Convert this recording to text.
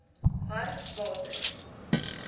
hartswater